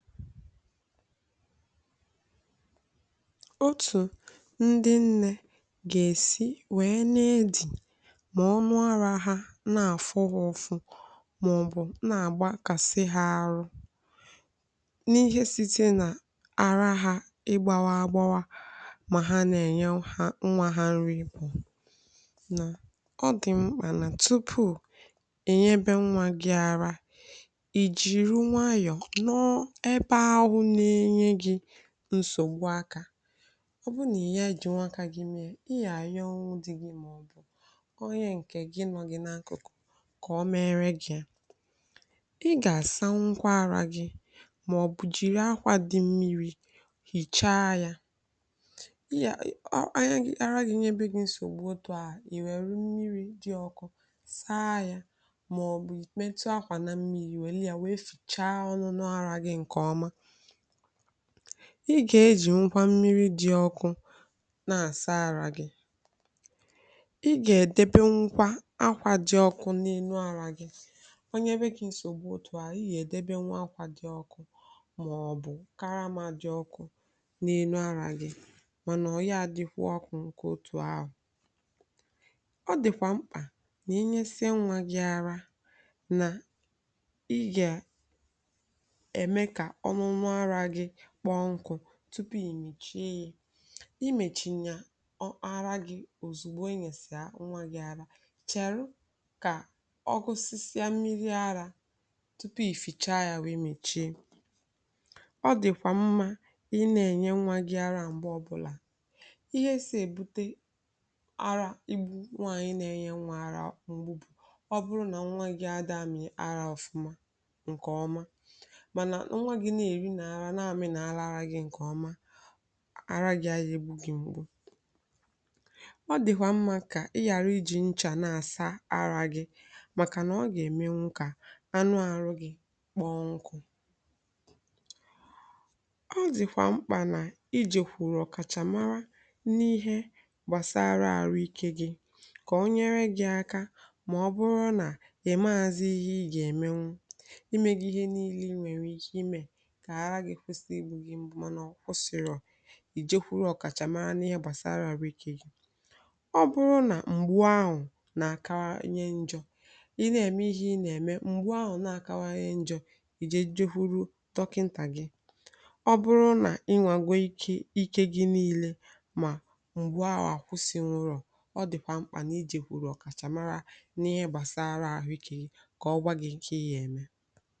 Otu ndị nne ga-esi wee na-ede ma ọnụ ara ha na-afọ ọkụ maọbụ na-agba ka sị ha arụ n’ihe site na ara ha igbawa agbawa, ma ha na-enye nwa ha nri bụ na ọ dị mkpà na tupu e nye ebe nwa gị ara nsògbu aka. Ọ bụrụ na ị ye eji nwa aka gị mee ihe, ị ga-eyi ọnwụ dị gị maọbụ ọ ya nke gị nọ gị n’akụkụ ka ọ mere gị. Ị ga-asa nkwa ara gị maọbụ jiri akwa dị mmiri hichaa ya, ị ga-eji nkwa mmiri dị ọkụ saa ya maọbụ mmetụ akwa na mmiri wee lee ya, wee fichaa ọnụ nụ ara gị. Ị ga-eji nkwa mmiri dị ọkụ na-asa àrọ gị, ị ga-edebe nkwa akwa dị ọkụ n’elu àrọ gị. Onye nwere nsògbu otu ahụ, ị ga-edebe nwa akwa dị ọkụ ma ọ bụ karamà dị ọkụ n’elu àrọ gị, mana ọ ga-adịrịkwa ọkụ nke otu ahụ. Ọ dịkwa mkpà na inye sie nwa gị ara na tupu i mechie yi, i mechie n’ịa ọ ara gị òzìgbo enye si nwa gị àrà chere ka ọ gụsisịa mmiri ara tupu i fịcha ya wụ, i mechie. Ọ dịkwa mma ị na-enye nwa gị ara mgbe ọbụla ihe si ebute ara igbu nwaanyị na-enye nwa ara mgbe bụ ọ bụrụ na nwa gị adịghị ara ọfụma nke ọma. Ara gị nke ọma, àrà gị ebu gị mgbu, ọ dịkwa mma ka ị ghara iji nchà na-asa ara gị maka na ọ ga-eme ka anụ ahụ gị kpọọ nkụ. Ọ dịkwa mkpà na iji kwụrụ ọkachamara n’ihe gbasara arụ ike gị ka o nyere gị aka. Ma ọ bụrụ na ọ na-emazi ihe ị ga-eme imé gị ihe niile i were ike ime, maọbụ ọ kwụsịrị, ọ̀ ị jekwuru ọkachamara n’ihe gbasara arụ ike gị, ọ bụrụ na mgbu ahụ na-akara nje njọ, ị na-eme ihe ị na-eme, mgbu ahụ na-akawa nje njọ, ị ga-eje kwụrụ dọkịta gị. Ọ bụrụ na ịnwago ike gị niile ma mgbu ahụ akwụsị nrọ, ọ dịkwa mkpà n’ije kwụrụ ọkachamara n’ihe gbasara ahụ ike gị ka ọ gba gị ike ya eme.